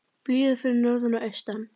Blíða fyrir norðan og austan